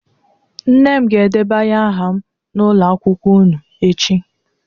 Nne m ga-edebanye aha m n'ụlọ akwụkwọ unu echi